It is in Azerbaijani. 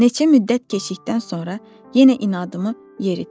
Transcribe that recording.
Neçə müddət keçdikdən sonra yenə inadımı yeritdim.